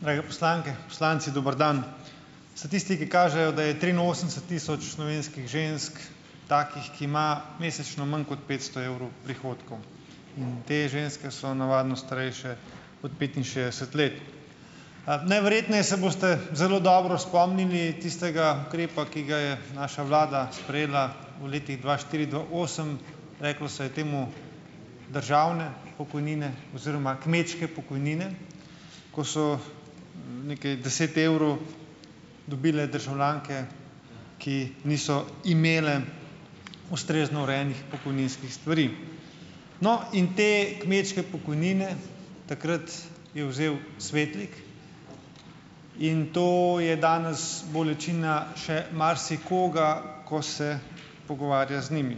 Drage poslanke, poslanci, dober dan. Statistiki kažejo, da je triinosemdeset tisoč slovenskih žensk takih, ki ima mesečno manj kot petsto evrov prihodkov, in te ženske so navadno starejše od petinšestdeset let. A najverjetneje se boste zelo dobro spomnili tistega ukrepa, ki ga je naša vlada sprejela v letih dva štiri-dva osem, reklo se je temu državne pokojnine oziroma kmečke pokojnine, ko so nekaj deset evrov dobile državljanke, ki niso imele ustrezno urejenih pokojninskih stvari. No, in potem kmečke pokojnine takrat je vzel Svetlik in to je danes bolečina še marsikoga, ko se pogovarja z njimi.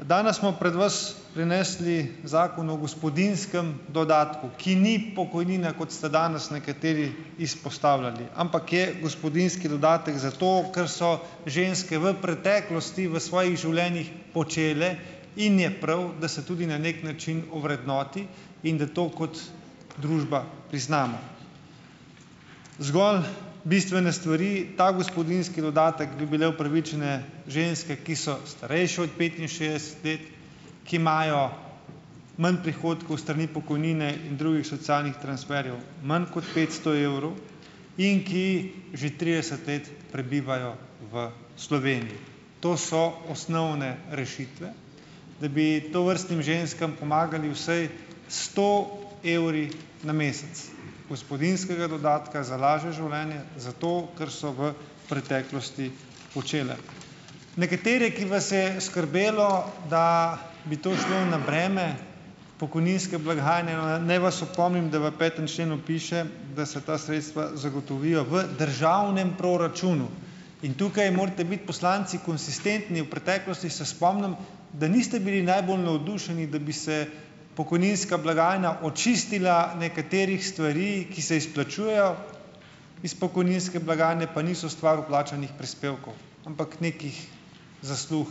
Danes smo pred vas prinesli Zakon o gospodinjskem dodatku, ki ni pokojnina, kot ste danes nekateri izpostavljali, ampak je gospodinjski dodatek za to, kar so ženske v preteklosti v svojih življenjih počele, in je prav, da se tudi na neki način ovrednoti in da to kot družba priznamo. Zgolj bistvene stvari, ta gospodinjski dodatek bi bile upravičene ženske, ki so starejše od petinšestdeset let, ki imajo manj prihodkov s strani pokojnine in drugih socialnih transferjev, manj kot petsto evrov, in ki že trideset let prebivajo v Sloveniji. To so osnovne rešitve, da bi tovrstnim ženskam pomagali vsaj s sto evri na mesec gospodinjskega dodatka za lažje življenje za to, kar so v preteklosti počele. Nekatere, ki vas je skrbelo, da bi to šlo na breme pokojninske blagajne, naj vas opomnim, da v petem členu piše, da se ta sredstva zagotovijo v državnem proračunu. In tukaj morate biti poslanci konsistentni. V preteklosti, se spomnim, da niste bili najbolj navdušeni, da bi se pokojninska blagajna očistila nekaterih stvari, ki se izplačujejo iz pokojninske blagajne, pa niso stvar vplačanih prispevkov, ampak nekih zaslug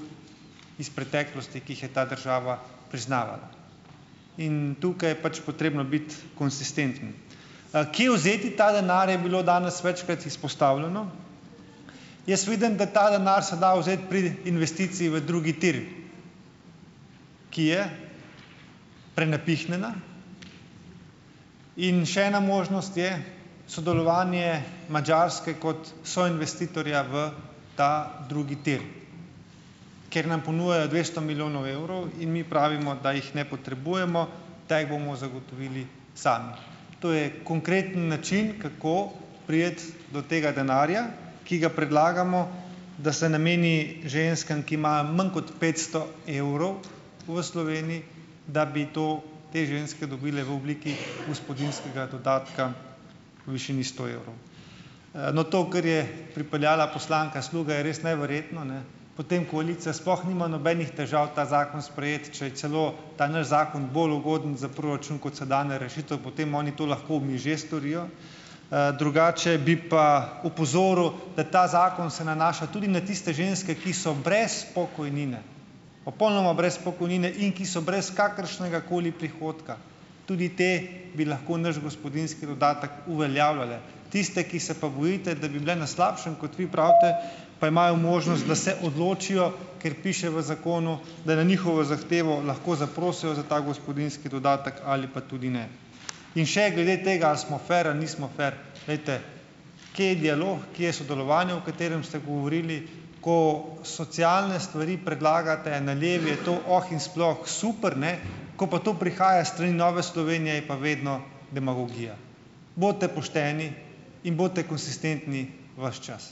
iz preteklosti, ki jih je ta država priznavala. In tukaj je pač potrebno biti konsistenten. kje vzeti ta denar, je bilo danes večkrat izpostavljeno. Jaz vidim, da ta denar se da vzeti pri investiciji v drugi tir, ki je prenapihnjena, in še ena možnost je sodelovanje Madžarske kot soinvestitorja v ta drugi tir, ker nam ponujajo dvesto milijonov evrov, in mi pravimo, da jih ne potrebujemo, da jih bomo zagotovili sami. To je konkreten način, kako priti do tega denarja, ki ga predlagamo, da se nameni ženskam, ki imajo manj kot petsto evrov v Sloveniji, da bi to te ženske dobile v obliki gospodinjskega dodatka v višini sto evrov. No, to, kar je pripeljala poslanka Sluga, je res neverjetno, ne, potem koalicija sploh nima nobenih težav ta zakon sprejeti, če je celo ta naš zakon bolj ugoden za proračun kot sedanja rešitev, potem oni to lahko v miže storijo. drugače bi pa opozoril, da ta zakon se nanaša tudi na tiste ženske, ki so brez pokojnine, popolnoma brez pokojnine, in ki so brez kakršnegakoli prihodka. Tudi te bi lahko naš gospodinjski dodatek uveljavljale. Tisti, ki se pa bojite, da bi bile na slabšem, kot vi pravite, pa imajo možnost, da se odločijo, ker piše v zakonu, da na njihovo zahtevo lahko zaprosijo za ta gospodinjski dodatek ali pa tudi ne. In še glede tega, ali smo fer ali nismo fer. Glejte, kje je dialog, kje je sodelovanje, o katerem ste govorili? Ko socialne stvari predlagate na levi, je to oh in sploh super, ne, ko pa to prihaja s strani Nove Slovenije, je pa vedno demagogija. Bodite pošteni in bodite konsistentni ves čas.